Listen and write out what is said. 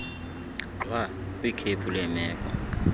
gxwa kwikhephu leemeko